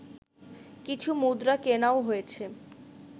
কিছু মুদ্রা কেনাও হয়েছে